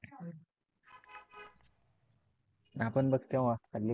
आपण बस तेव्हाच खाली.